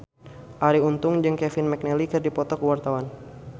Arie Untung jeung Kevin McNally keur dipoto ku wartawan